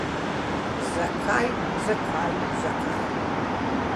Zakaj, zakaj, zakaj ...